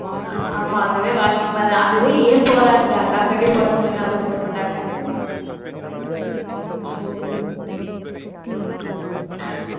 ஆஹ் அதுவே walking மாதிரி தான். அதுவே ஏன் போறாங்க? அக்காக்காண்டி போறாங்க. இல்லனா அதுவும் போமாட்டாங்க. உம் அஹ்